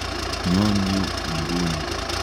Nyon yu inguni.